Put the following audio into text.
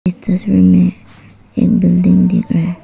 इस तस्वीर में एक बिल्डिंग दिख रहा है।